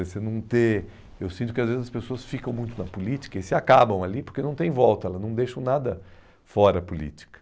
você não ter... Eu sinto que às vezes as pessoas ficam muito na política e se acabam ali porque não tem volta, elas não deixam nada fora a política.